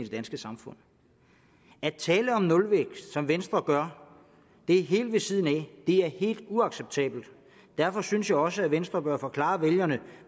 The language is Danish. danske samfund at tale om nulvækst som venstre gør det er helt ved siden af det er helt uacceptabelt derfor synes jeg også at venstre bør forklare vælgerne